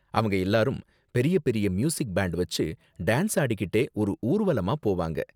அவங்க எல்லாரும் பெரிய பெரிய மியூசிக் பேண்ட் வெச்சு டான்ஸ் ஆடிக்கிட்டே ஒரு ஊர்வலமா போவாங்க.